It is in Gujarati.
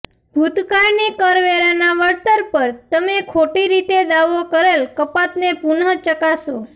ભૂતકાળની કરવેરાનાં વળતર પર તમે ખોટી રીતે દાવો કરેલ કપાતને પુનઃચકાસો